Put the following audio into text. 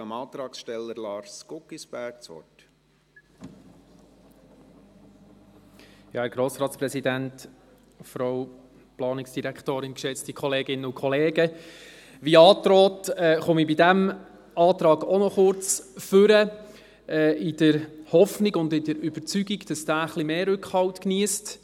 Wie angedroht, komme ich bei diesem Antrag auch noch kurz nach vorne, in der Hoffnung und mit der Überzeugung, dass dieser bei Ihnen etwas mehr Rückhalt geniesst.